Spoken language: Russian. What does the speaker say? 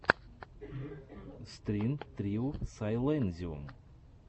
стрин трио сайлэнзиум